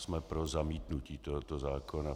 Jsme pro zamítnutí tohoto zákona.